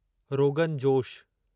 rogan josh